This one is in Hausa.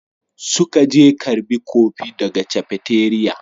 Suka je karbi kofi daga cafeteria.